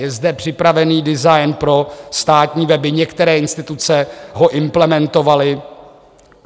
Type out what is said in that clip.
Je zde připravený design pro státní weby, některé instituce ho implementovaly.